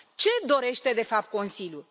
Ce dorește de fapt Consiliul?